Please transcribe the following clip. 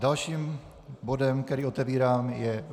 Dalším bodem, který otevírám, je